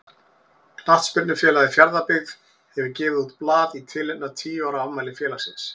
Knattspyrnufélagið Fjarðabyggð hefur gefið út blað í tilefni af tíu ára afmæli félagsins.